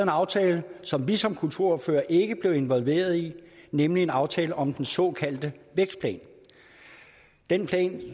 aftale som vi som kulturordførere ikke blev involveret i nemlig en aftale om den såkaldte vækstplan den plan